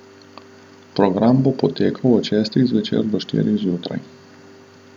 Program bo potekal od šestih zvečer do štirih zjutraj.